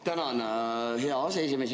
Tänan, hea aseesimees!